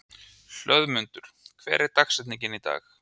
Hlöðmundur, hver er dagsetningin í dag?